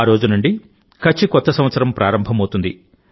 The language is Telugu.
ఆ రోజు నుండి కచ్ కొత్త సంవత్సరం ప్రారంభం అవుతుంది